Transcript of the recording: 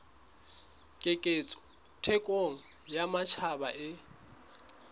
keketseho thekong ya matjhaba e